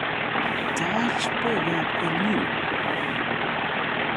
Taach beekab EL Nino